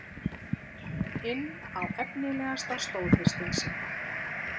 inn á efnilegasta stóðhestinn sinn.